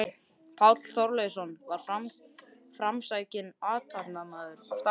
Páll Þorleifsson var framsækinn athafnamaður á staðnum.